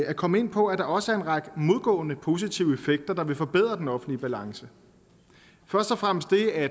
at komme ind på at der også er en række modgående positive effekter der vil forbedre den offentlige balance først og fremmest det at